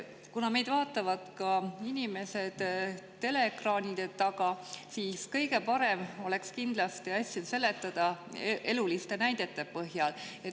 Kuna meid vaatavad ka inimesed teleekraanide taga, siis oleks kõige parem kindlasti asja seletada eluliste näidete põhjal.